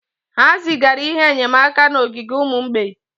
Ha zigara ihe enyemaka n'ogige ụmụ mgbei